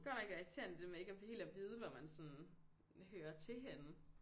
Godt nok irriterende det der med ikke at helt at vide hvor man sådan hører til henne